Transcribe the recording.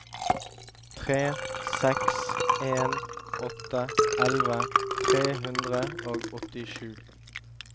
tre seks en åtte elleve tre hundre og åttisju